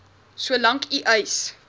solank u eis